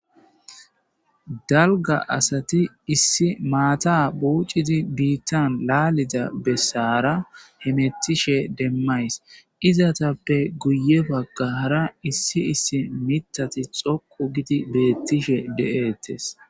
dalga asati issi maata buuccidi biittan laalida bessaara hemettishe demmays izatappe guye baggaara issi issi mitati xoqu gidi beettishe de7eettes